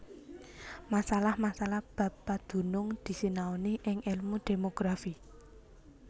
Masalah masalah bab padunung disinaoni ing èlmu Demografi